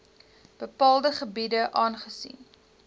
bepaalde gebiede aangesien